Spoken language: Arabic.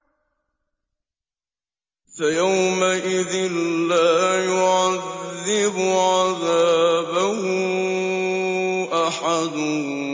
فَيَوْمَئِذٍ لَّا يُعَذِّبُ عَذَابَهُ أَحَدٌ